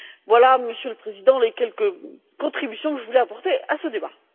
Voilà, Monsieur le Président, les quelques contributions je voulais apporter à ce débat.